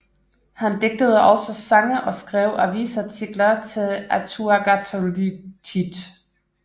Han digtede også sange og skrev avisartikler til Atuagagdliutit